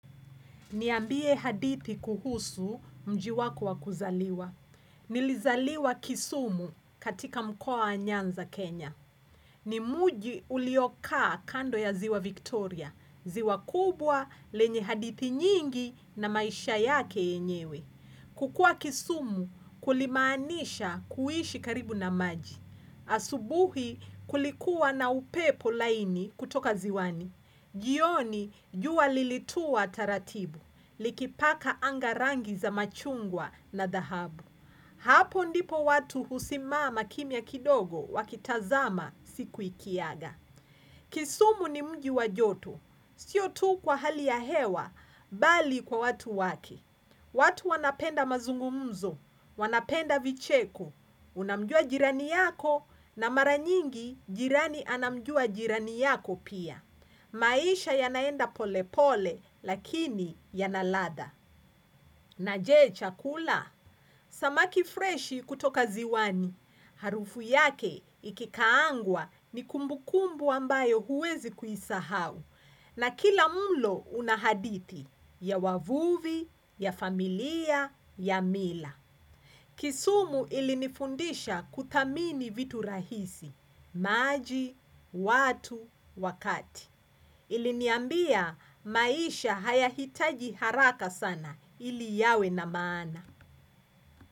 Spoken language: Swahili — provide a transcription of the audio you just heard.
Niambie hadithi kuhusu mji wako wa kuzaliwa. Nilizaliwa kisumu katika mkoa wa nyanza Kenya. Ni mji uliokaa kando ya ziwa Victoria. Ziwa kubwa lenye hadithi nyingi na maisha yake yenyewe. Kukua kisumu kulimaanisha kuishi karibu na maji. Asubuhi kulikuwa na upepo laini kutoka ziwani. Jioni jua lilituwa taratibu. Likipaka anga rangi za machungwa na dahabu. Hapo ndipo watu husimama kimia kidogo wakitazama siku ikiaga. Kisumu ni mji wajoto, sio tu kwa hali ya hewa, bali kwa watu wake. Watu wanapenda mazungumzo, wanapenda vicheko, unamjua jirani yako, na mara nyingi jirani anamjua jirani yako pia. Maisha yanaenda polepole, lakini yanaladha. Na jee chakula? Samaki freshi kutoka ziwani. Harufu yake ikikaangwa ni kumbukumbu ambayo huwezi kuisahau. Na kila mlo unahadithi ya wavuvi, ya familia, ya mila. Kisumu ilinifundisha kuthamini vitu rahisi, maaji, watu, wakati. Iliniambia maisha haya hitaji haraka sana ili yawe na maana.